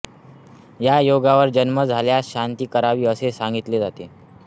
या योगावर जन्म झाल्यास शांती करावी असे सांगितले जाते